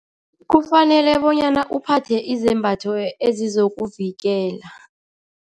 Kufanele bonyana uphathe izembatho ezizokuvikela.